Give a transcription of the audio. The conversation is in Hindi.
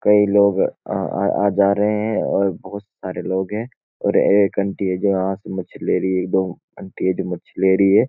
कई लोग आ-आ-आ-जा रहे हैं और बहोत सारे लोग हैं और एक आंटी है जो आ से मच्छी ले रही है। एक दो आंटी है जो मच्छी ले रही है।